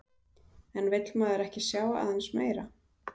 En vill maður ekki sjá aðeins meira?